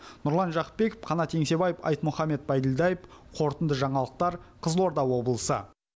нұрлан жақыпбеков қанат еңсебаев айтмұхамед байділдаев қорытынды жаңалықтар қызылорда облысы